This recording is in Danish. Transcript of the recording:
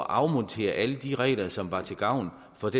afmontere alle de regler som var til gavn for